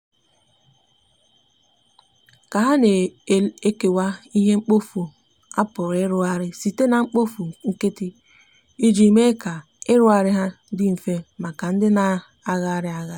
ha na ekewa ihe mkpọfụ a pụrụ irụghari site na mkpofụ nkiti ijii mee ka irughari ha ndi mfe maka ndi na na arughari ya